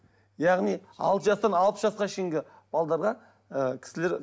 яғни алты жастан алпыс жасқа шейінгі ы кісілер